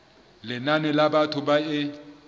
lenane la batho ba e